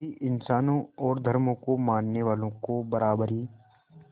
सभी इंसानों और धर्मों को मानने वालों को बराबरी